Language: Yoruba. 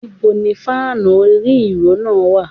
Níbo ni fáànù orí - ìró náà wà.?